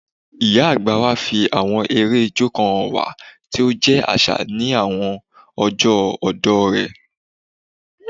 Ìyá àgbà wa fi àwọn eré ijó kan hàn wá tí ó jẹ́ àṣà ní àwọn ọjọ́ ọ̀dọ́ rẹ̀